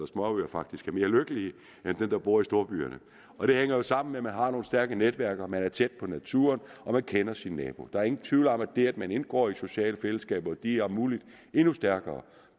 småøer faktisk er mere lykkelige end dem der bor i storbyerne og det hænger jo sammen med at man har nogle stærke netværk og man er tæt på naturen og man kender sin nabo der er ingen tvivl om at det at man indgår i sociale fællesskaber og de er om muligt endnu stærkere